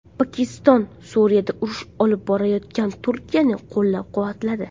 Pokiston Suriyada urush olib borayotgan Turkiyani qo‘llab-quvvatladi.